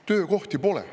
Töökohti pole.